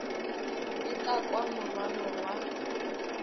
be ka kwa morwalo wa